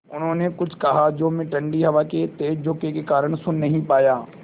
उन्होंने कुछ कहा जो मैं ठण्डी हवा के तेज़ झोंके के कारण सुन नहीं पाया